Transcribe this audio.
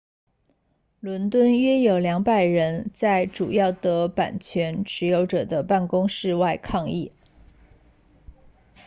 伦敦约有200人在主要的版权持有者的办公室外抗议